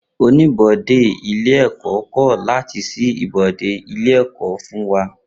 Oníbodè ilé ẹ̀kọ́ kọ̀ láti ṣí ibodè ilé ẹ̀kọ́ fún wa.